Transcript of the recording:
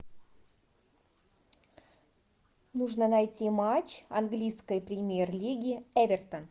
нужно найти матч английской премьер лиги эвертон